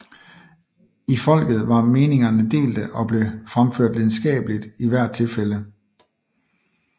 I folket var meningerne delte og blev fremført lidenskabeligt i hvert tilfælde